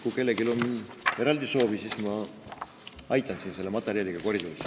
Kui kellelgi on eraldi soovi, siis ma aitan selle materjaliga koridoris.